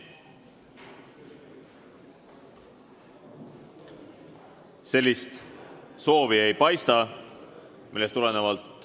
Sellist soovi ei paista.